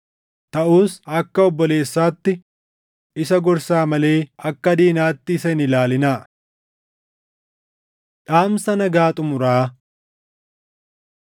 Taʼus akka obboleessaatti isa gorsaa malee akka diinaatti isa hin ilaalinaa. Dhaamsa Nagaa Xumuraa